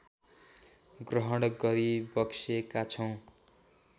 ग्रहण गरिबक्सेका छौँ